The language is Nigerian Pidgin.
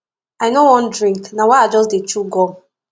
i no wan drink na why i just dey chew gum